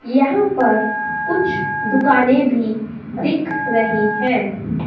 यहां पर कुछ दुकानें भी दिख रही हैं।